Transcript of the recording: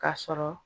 K'a sɔrɔ